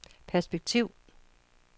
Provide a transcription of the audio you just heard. perspektiv